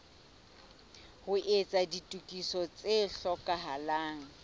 ho etsa ditokiso tse hlokahalang